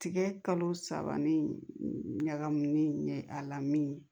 Tigɛ kalo saba ni ɲagamini ye a lamini